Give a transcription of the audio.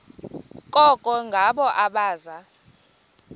koko ngabo abaza